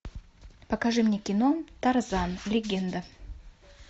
покажи мне кино тарзан легенда